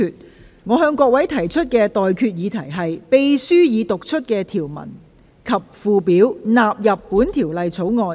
我現在向各位提出的待決議題是：秘書已讀出的條文及附表納入本條例草案。